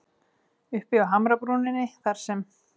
Uppi á hamrabrúninni þar sem